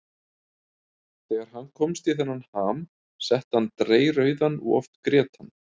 Þegar hann komst í þennan ham, setti hann dreyrrauðan og oft grét hann.